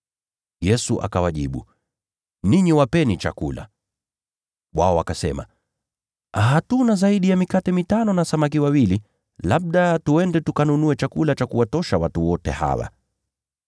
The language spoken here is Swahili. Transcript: Yesu akawajibu, “Ninyi wapeni chakula.” Nao wakajibu, “Hatuna zaidi ya mikate mitano na samaki wawili. Labda twende tukanunue chakula cha kuwatosha watu hawa wote.”